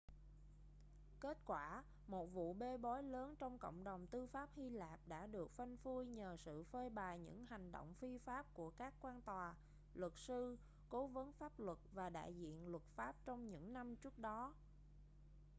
kết quả một vụ bê bối lớn trong cộng đồng tư pháp hy lạp đã được phanh phui nhờ sự phơi bày những hành động phi pháp của các quan tòa luật sư cố vấn pháp luật và đại diện luật pháp trong những năm trước đó